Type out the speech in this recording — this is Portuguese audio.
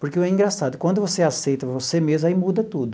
Porque é engraçado, quando você aceita você mesmo, aí muda tudo.